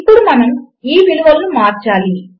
ఇప్పుడు మనము ఈ విలువలను మార్చాలి